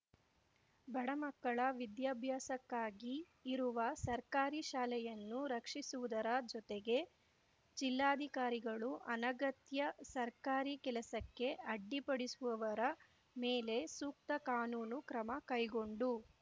ಬಡಮಕ್ಕಳ ವಿದ್ಯಾಭ್ಯಾಸಕ್ಕಾಗಿ ಇರುವ ಸರ್ಕಾರಿ ಶಾಲೆಯನ್ನು ರಕ್ಷಿಸುವುದರ ಜೊತೆಗೆ ಜಿಲ್ಲಾಧಿಕಾರಿಗಳು ಅನಗತ್ಯ ಸರ್ಕಾರಿ ಕೆಲಸಕ್ಕೆ ಅಡ್ಡಿಪಡಿಸುವವರ ಮೇಲೆ ಸೂಕ್ತ ಕಾನೂನು ಕ್ರಮಕೈಗೊಂಡು